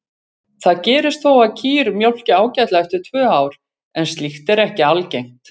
Það gerist þó að kýr mjólki ágætlega eftir tvö ár en slíkt er ekki algengt.